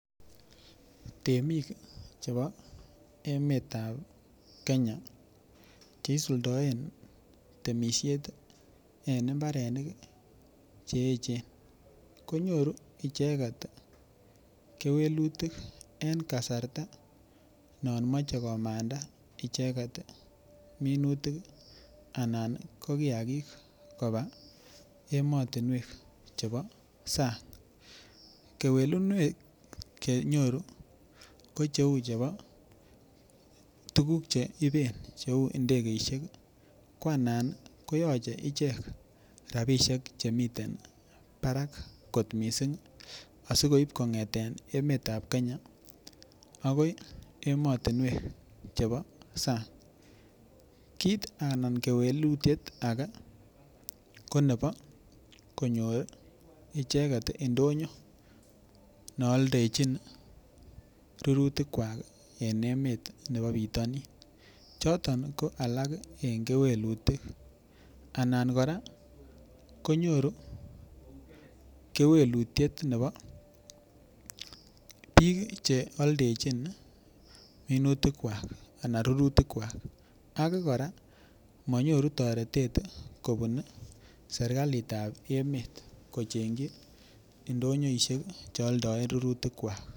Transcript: Temik chebo emetab Kenya cheisuldoen temishet en imbarenik cheechen konyoru icheget kewelutik en kasarta non mochei komanda icheget minutik anan ko kiyakik koba emotinwek chebo sang' kewelunwek chenyoru ko cheu chebo tukuk chen ibe cheu ndegeishek kwa anan koyochei ichek rapishek chemiten barak kot mising' asikobit kong'eten emetab Kenya akoi emotinwek chebo sang' kit anan kewelutiet age ko nebo konyoru icheget ndinyo neoldejin rurutik kwak en emet nebo bitonin choton ko alak en kewelutik anan kora konyoru kewelutiet nebo biik cheoldejin minutik kwak anan rurutik kwak age kora manyoru toretet kobun serikalitab emet kochenji ndonyoishek cheoldoen rurutik kwak